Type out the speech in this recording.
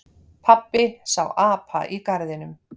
Pabbi sá apa í garðinum.